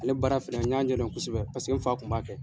Ale baara fɛnɛ n y'a ɲɛdɔn kosɛbɛ paseke n fa kun b'a kɛ.